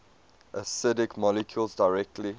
acidic molecules directly